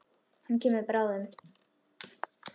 Hann kemur bráðum.